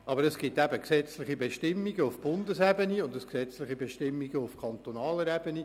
Aber es gibt gesetzliche Bestimmungen auf Bundesebene und gesetzliche Bestimmungen auf kantonaler Ebene.